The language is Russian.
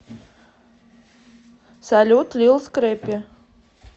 салют лил скрэппи